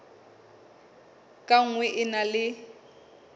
ka nngwe e na le